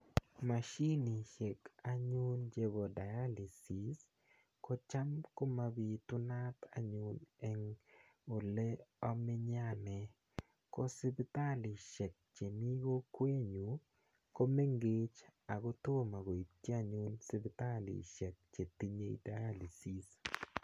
Mashinisiek anyun nebo dialysis ko cham komabitunat anyun en oleomenye anee ko sipitalisiek chemii kokwetnyun komengech ako tomo koityi anyun sipitalisiek chetinye dialysis